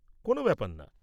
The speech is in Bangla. কোনও ব্যাপার না।